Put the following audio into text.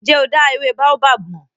Ǹ jẹ́ o dá ewé Baobab mọ̀?